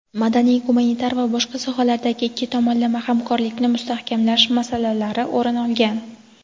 madaniy-gumanitar va boshqa sohalardagi ikki tomonlama hamkorlikni mustahkamlash masalalari o‘rin olgan.